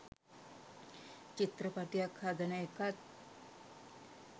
චිත්‍රපටියක් හදන එකත්